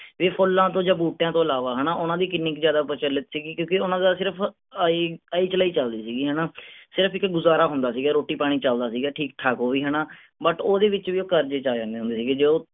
ਇਹ ਫੁੱਲਾਂ ਤੋਂ ਜਾਂ ਬੂਟਿਆਂ ਤੋਂ ਇਲਾਵਾ ਹੈਨਾ ਓਹਨਾ ਦੀ ਕਿੰਨੀ ਕ ਜ਼ਿਆਦਾ ਪ੍ਰਚਲਿਤ ਸੀਗੀ ਕਿਉਂਕਿ ਓਹਨਾ ਦਾ ਸਿਰਫ ਆਈ ਆਈ ਚਲਾਈ ਚਲਦੀ ਸੀਗੀ ਹੈਨਾ। ਸਿਰਫ ਇੱਕ ਗੁਜ਼ਾਰਾ ਹੁੰਦਾ ਸੀਗਾ ਰੋਟੀ ਪਾਣੀ ਚਲਦਾ ਸੀਗਾ ਠੀਕ ਠਾਕ ਉਹ ਵੀ ਹੈਨਾ but ਓਹਦੇ ਵਿਚ ਵੀ ਉਹ ਕਰਜ਼ੇ ਚੇ ਆ ਜਾਂਦੇ ਸੀਗੇ ਜੋ